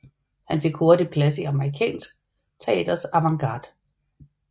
Han fik hurtigt plads i amerikansk teaters avantgarde